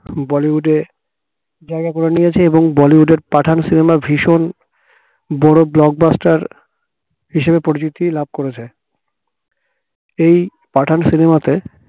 বলিউডে জাইগা করে নিয়েছে এবং বলিউডের পাঠান cinema ভীষণ বড় blockbuster হিসেবে পরিচিতি লাভ করেছে এই পাঠান cinema তে